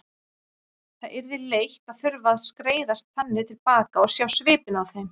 Það yrði leitt að þurfa að skreiðast þannig til baka og sjá svipinn á þeim.